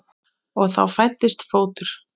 Og þá fæddist fótur.